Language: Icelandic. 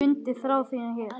Fundið þrá þína hér.